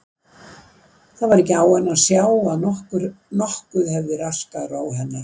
Það var ekki á henni að sjá að nokkuð hefði raskað ró hennar.